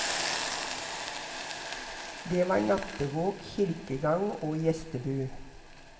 Det var nattevåk, kirkegang og gjestebud.